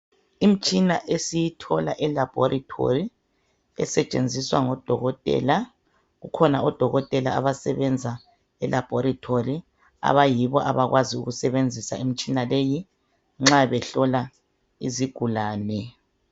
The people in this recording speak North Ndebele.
Imitshina esiyithola elaboratory esetshenziswa ngo Dokotela. Kukhona oDokotela abasebenza elaboratory bayibo abakwazi ukusebenzisa imitshina leyi nxa behlola izigulane.